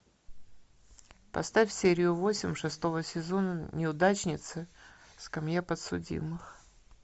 поставь серию восемь шестого сезона неудачница скамья подсудимых